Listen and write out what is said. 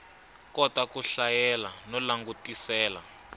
kota ku hlayela no langutisela